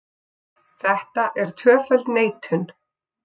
Þetta er tvöföld neitun.